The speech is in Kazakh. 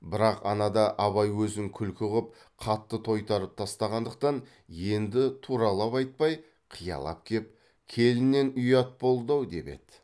бірақ анада абай өзін күлкі қып қатты тойтарып тастағандықтан енді туралап айтпай қиялап кеп келіннен ұят болды ау деп еді